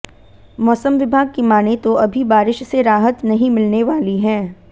मौसम विभाग की मानें तो अभी बारिश से राहत नहीं मिलने वाली है